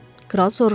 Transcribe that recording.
Kral soruşdu.